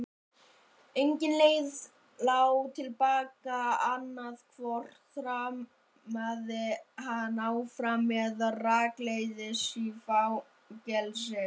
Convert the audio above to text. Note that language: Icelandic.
Engin leið lá til baka, annaðhvort þrammaði hann áfram eða rakleiðis í fangelsi.